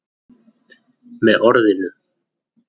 Með orðinu